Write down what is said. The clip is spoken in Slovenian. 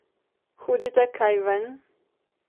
Hodite kaj ven?